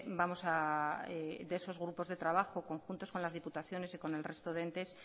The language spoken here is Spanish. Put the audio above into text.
vamos a de esos grupos de trabajo conjuntos con las diputaciones y con el resto de entes